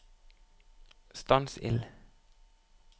stans ild